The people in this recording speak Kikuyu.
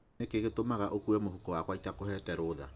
Nĩkĩ gĩatũma ũkue mũhuko wakwa itakũhete rũtha?